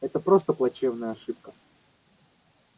это просто плачевная ошибка